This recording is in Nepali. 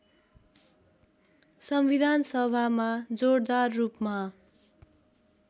संविधानसभामा जोडदार रूपमा